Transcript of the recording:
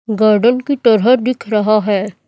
Garden की तरह दिख रहा है।